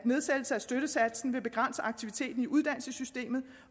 nedsættelse af støttesatsen vil begrænse aktiviteten i uddannelsessystemet